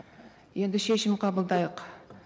енді шешім қабылдайық